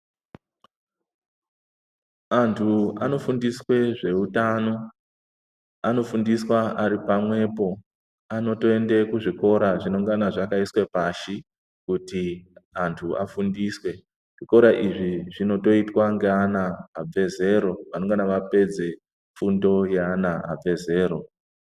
Andu anofundiswa zveutano anofundiswa ari oamwepo anotoenda kuzvikora zvinenge zvakaiswa pashi kuti andu afundiswe zvikora izvi zvinotoitwa ngeana abve zero vanongane vapedze fundo yeana abve zera .